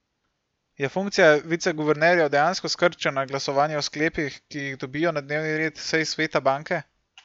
Je funkcija viceguvernerjev dejansko skrčena na glasovanje o sklepih, ki jih dobijo na dnevni red sej sveta banke?